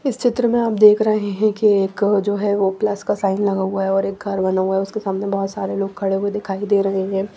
इस चित्र में आप देख रहे हैं कि एक जो है वो प्लस का साइन लगा हुआ है और एक घर बना हुआ है उसके सामने बहुत सारे लोग खड़े हुए दिखाई दे रहे हैं।